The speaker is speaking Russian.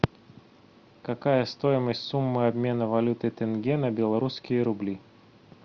какая стоимость суммы обмена валюты тенге на белорусские рубли